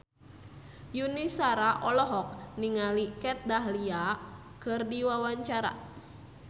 Yuni Shara olohok ningali Kat Dahlia keur diwawancara